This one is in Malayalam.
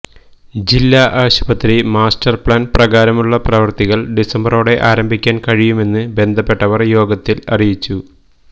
ജില്ലാ ആശുപത്രി മാസ്റ്റര് പ്ലാന് പ്രകാരമുള്ള പ്രവൃത്തികള് ഡിസംബറോടെ ആരംഭിക്കാന് കഴിയുമെന്ന് ബന്ധപ്പെട്ടവര് യോഗത്തില് അറിയിച്ചു